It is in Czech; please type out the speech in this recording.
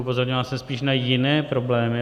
Upozorňoval jsem spíš na jiné problémy.